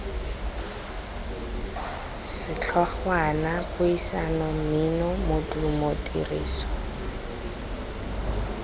setlhogwana puisano mmino modumo tiriso